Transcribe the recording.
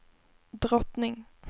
drottning